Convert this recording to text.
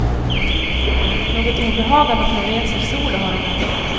Något obehag av att hon reser solo har hon aldrig haft.